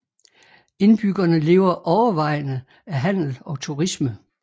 Indbyggerne lever overvejende af handel og turisme